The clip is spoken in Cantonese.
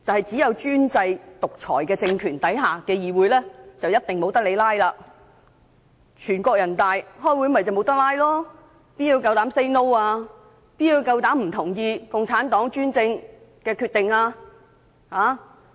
只有專制獨裁政權下的議會才一定不准"拉布"，正如全國人民代表大會開會便不能"拉布"，試問誰敢說不，誰敢不同意共產黨的專政決定？